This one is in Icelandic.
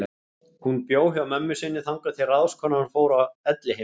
Hún bjó hjá mömmu sinni þangað til ráðskonan fór á elliheimili.